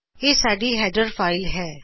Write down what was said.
ਇਹ ਸਾਡੀ header file ਹੈ